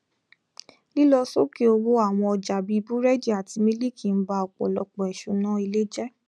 lílọ sókè owó àwọn ọjà bíi búrẹdì àti mílìkì n ba ọpọlọpọ ìṣúná ilé jẹ